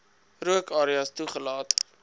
rook areas toegelaat